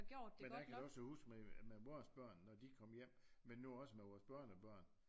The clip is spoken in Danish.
Men det kan jeg også huske med vores børn når de kom hjem men nu også med vores børnebørn